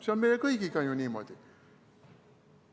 See on meie kõigiga ju niimoodi.